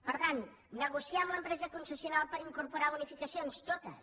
per tant negociar amb l’empresa concessional per incorporar bonificacions totes